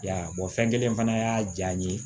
Y'a ye fɛn kelen fana y'a diya n ye